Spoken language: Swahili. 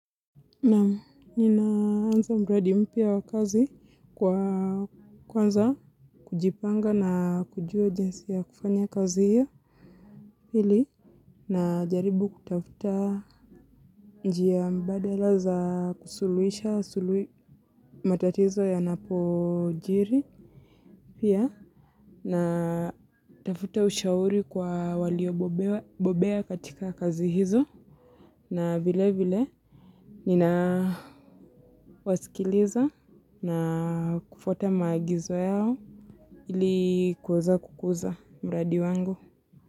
Naam, ninaanza mradi mpya wa kazi kwa, kwanza, kujipanga na kujua jinsi ya kufanya kazi hiyo ili najaribu kutafuta njia mbadala za kusuluhisha matatizo yanapojiri pia natafuta ushauri kwa waliobobea katika kazi hizo na vile vile ninawasikiliza na kufuata maagizo yao ili kuweza kukuza mradi wangu.